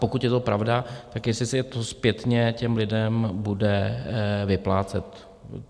Pokud je to pravda, tak jestli se to zpětně těm lidem bude vyplácet.